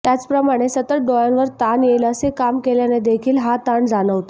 त्याचप्रमाणे सतत डोळ्यांवर ताण येईल असे काम केल्याने देखील हा ताण जाणवतो